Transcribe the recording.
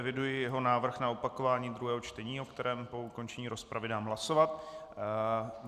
Eviduji jeho návrh na opakování druhého čtení, o kterém po ukončení rozpravy dám hlasovat.